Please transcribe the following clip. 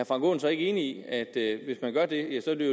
frank aaen så ikke enig i at det